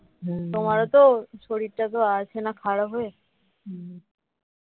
তোমারও তো শরীরটা আছে না খারাপ হয়ে